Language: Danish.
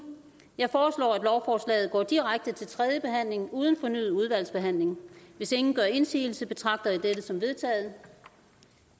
jeg foreslår at lovforslaget går direkte til tredje behandling uden fornyet udvalgsbehandling hvis ingen gør indsigelse betragter jeg dette som vedtaget